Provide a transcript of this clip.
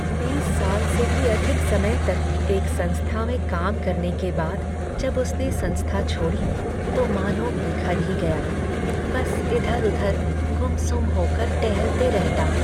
बीस साल से भी अधिक समय तक एक संस्था में काम करने के बाद जब उसने संस्था छोड़ी तो मानो बिखर ही गया। बस इधर उधर गुमसुम होकर टहलते रहता।